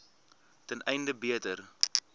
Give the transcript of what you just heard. ten einde beter